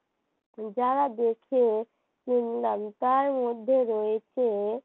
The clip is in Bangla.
তার মধ্যে রয়েছে ।